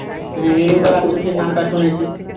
হুম হিড়িম্বা রাক্ষসীর নাম টা শুনেছি